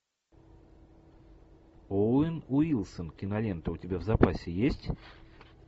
оуэн уилсон кинолента у тебя в запасе есть